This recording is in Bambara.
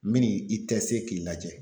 Mini i k'i lajɛ